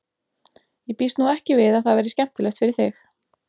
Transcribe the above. Ég býst nú ekki við að það verði skemmtilegt fyrir þig.